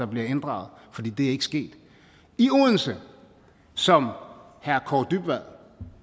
bliver inddraget for det er ikke sket i odense som herre kaare dybvad